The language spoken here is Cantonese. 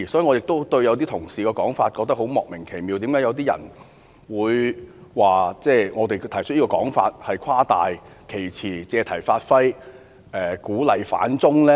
我亦對某些同事的說法感到莫名其妙，為何有些人會指我們誇大其詞、借題發揮、鼓勵"反中"呢？